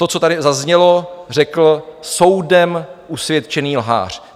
To, co tady zazněl, řekl soudem usvědčený lhář.